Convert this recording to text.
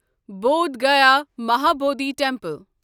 Bodh Gaya Mahabodhi temple